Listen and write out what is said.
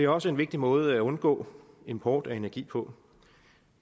også en vigtig måde at undgå import af energi på